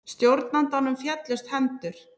Stjórnandanum féllust hendur.